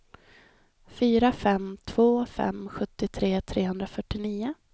fyra fem två fem sjuttiotre trehundrafyrtionio